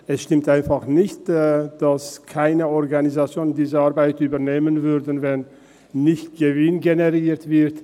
Es stimmt nicht, dass keine Organisation diese Arbeiten übernimmt, wenn kein Gewinn generiert wird.